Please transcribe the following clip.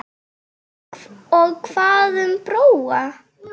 Og hvað um Bróa?